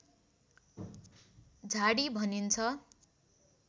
झाडी भनिन्छ